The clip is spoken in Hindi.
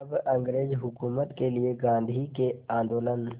अब अंग्रेज़ हुकूमत के लिए गांधी के आंदोलन